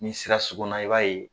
Ni sera sugunna i b'a ye